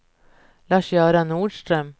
Lars-Göran Nordström